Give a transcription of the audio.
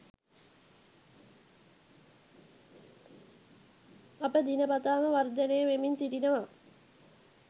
අප දිනපතාම වර්ධනය වෙමින් සිටිනවා.